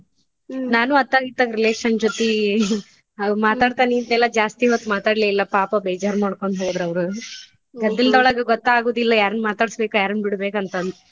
ನಾನು ಅತ್ತಾಗಿತ್ತಾಗ್ relation ಜೊತಿ ಮಾತಾಡ್ತಾ ನಿಂತ್ನಿಲಾ ಜಾಸ್ತಿ ಹೊತ್ ಮಾತಾಡ್ಲೆಯಿಲ್ಲಾ ಪಾಪಾ ಬೇಜಾರ್ ಮಾಡ್ಕೊಂಡ್ ಹೋದ್ರ ಅವ್ರು ಗದ್ದಲದೊಳಗ ಗೊತ್ತ ಆಗೋದಿಲ್ಲ ಯಾರನ್ನ ಮಾತಾಡ್ಸಬೇಕ್ ಯಾರನ್ನ ಬಿಡಬೇಕ್ ಅಂತ ಅಂದ.